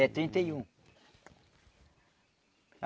É trinta e um